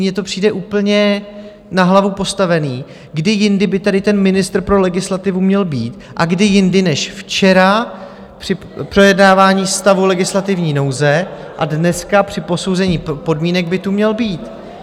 Mně to přijde úplně na hlavu postavené - kdy jindy by tady ten ministr pro legislativu měl být a kdy jindy než včera, při projednávání stavu legislativní nouze, a dneska při posouzení podmínek by tu měl být?